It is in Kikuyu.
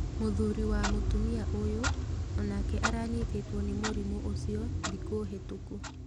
Mũthuri wa mũtumia ũyũ onake aranyitĩtwo nĩ mũrimũ ũcio thikũ hĩtũku.